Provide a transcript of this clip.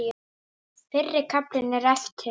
Fyrri kaflinn er eftir